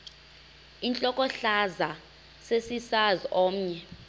intlokohlaza sesisaz omny